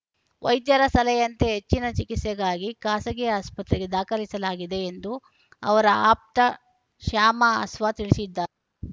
ವೈದ್ಯರ ಸಲಹೆಯಂತೆ ಹೆಚ್ಚಿನ ಚಿಕಿತ್ಸೆಗಾಗಿ ಖಾಸಗಿ ಆಸ್ಪತ್ರೆಗೆ ದಾಖಲಿಸಲಾಗಿದೆ ಎಂದು ಅವರ ಆಪ್ತ ಶ್ಯಾಮ ಆಸ್ವಾ ತಿಳಿಸಿದ್ದಾ